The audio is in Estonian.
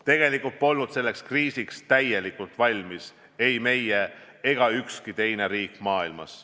Tegelikult polnud selleks kriisiks valmis ei meie ega ükski teine riik maailmas.